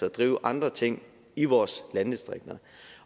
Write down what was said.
og drive andre ting i vores landdistrikter